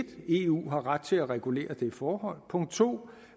eu har ret til at regulere det forhold og punkt to